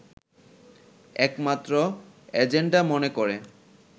একমাত্র এজেন্ডা মনে করে